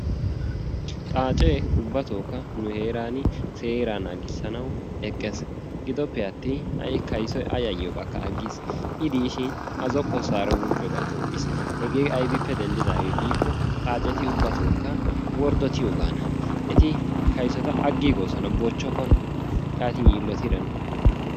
Xaacee ubbatookka nu heeran seeraa naagissanawu eqqees. Gidoppe attin kaysoy A yayyiyogaakka aggiis. I diishin A zokkossaara wuuqqiyogaa doommis. Hegee aybippe doommidaagaanee giikko eti kaysota bochchokkona, aggiigoosona. Hegaappe denddidaagan keehippe yiillotida nu.